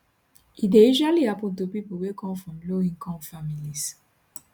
e dey usually happun to pipo wey come from lowincome families